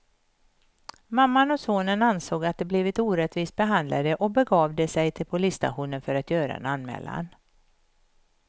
Mamman och sonen ansåg att de blivit orättvist behandlade och begav de sig till polisstationen för att göra en anmälan.